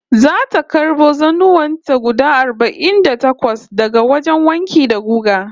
Zata karbo zannuwan ta guda arba'in da takwas daga wajen wanki da guga